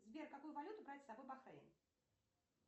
сбер какую валюту брать с собой в бахрейн